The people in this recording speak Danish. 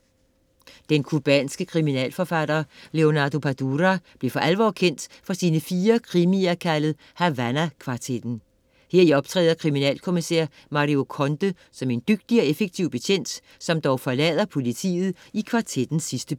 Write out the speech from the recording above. Den cubanske kriminalforfatter Leaonardo Padura blev for alvor kendt for sine 4 krimier kaldet Havana-kvartetten. Heri optræder kriminalkommisær Mario Conde som en dygtig og effektiv betjent, som dog forlader politiet i kvartettens sidste bind.